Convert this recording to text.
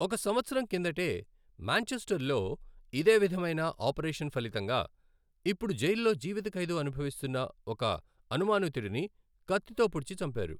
ఒక సంవత్సరం కిందటే, మాంచెస్టర్లో ఇదే విధమైన ఆపరేషన్ ఫలితంగా ఇప్పుడు జైలులో జీవితఖైదు అనుభవిస్తున్న ఒక అనుమానితుడిని కత్తితో పొడిచి చంపారు.